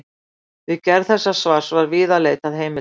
Við gerð þessa svars var víða leitað heimilda.